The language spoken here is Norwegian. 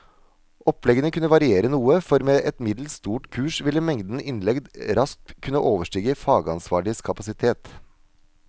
Oppleggene kunne variere noe, for med et middels stort kurs ville mengden innlegg raskt kunne overstige fagansvarliges kapasitet.